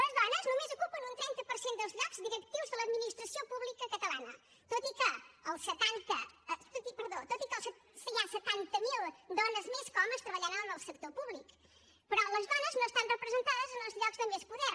les dones només ocupen un trenta per cent dels llocs directius de l’administració pública catalana tot i que hi ha setanta mil dones més que homes treballant en el sector públic però les dones no estan representades en els llocs de més poder